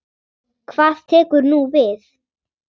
Hvað tekur nú við?